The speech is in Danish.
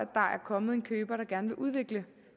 er kommet en køber der gerne vil udvikle